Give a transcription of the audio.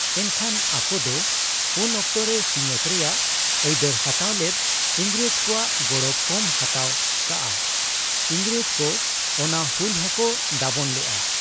ᱮᱱᱠᱷᱟᱱ ᱟᱠᱚᱫᱚ ᱩᱱ ᱚᱠᱛᱚ ᱨᱮ ᱥᱤᱧᱚᱛ ᱨᱮᱭᱟᱜ ᱟᱹᱭᱫᱟᱹᱨ ᱦᱟᱛᱟᱣ ᱞᱮᱫ ᱤᱝᱨᱮᱡᱽ ᱠᱚᱣᱟᱜ ᱜᱚᱲᱚ ᱠᱚᱢ ᱦᱟᱛᱟᱣ ᱟᱠᱟᱜ ᱟ᱾ ᱤᱝᱨᱮᱡᱽ ᱠᱚ ᱚᱱᱟ ᱦᱩᱞ ᱦᱚᱸᱠᱚ ᱫᱟᱵᱚᱱ ᱞᱮᱜ ᱟ ᱾